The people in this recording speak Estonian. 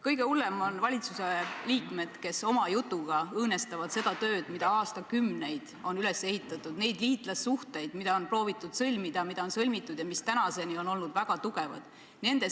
Kõige hullemad on valitsuse liikmed, kes oma jutuga õõnestavad seda tööd, mida aastakümneid on tehtud, neid liitlassuhteid, mida on proovitud sõlmida ja mida on sõlmitud ning mis tänaseni on olnud väga tugevad.